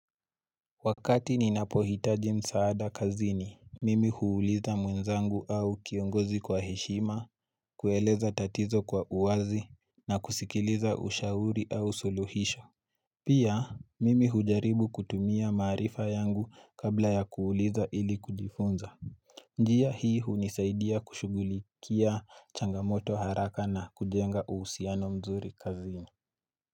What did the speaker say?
Wakati ninapohitaji msaada kazini, mimi huuliza mwenzangu au kiongozi kwa heshima, kueleza tatizo kwa uwazi, na kusikiliza ushauri au suluhisho. Pia, mimi hujaribu kutumia maarifa yangu kabla ya kuuliza ili kujifunza. Njia hii hunisaidia kushugulikia changamoto haraka na kujenga uhusiano mzuri kazini.